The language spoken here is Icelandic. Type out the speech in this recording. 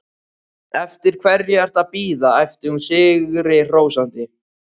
Eftir hverju ertu að bíða? æpti hún sigrihrósandi.